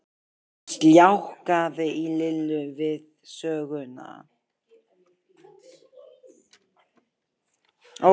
Það sljákkaði í Lillu við söguna.